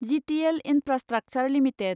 GTL infrastructure limited